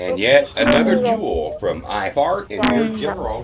মিষ্টি মিষ্টি ও নিয়ে গেছিলো